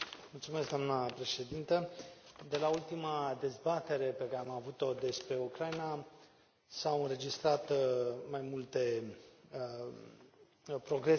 Doamnă președintă, de la ultima dezbatere pe care am avut o despre Ucraina s au înregistrat mai multe progrese.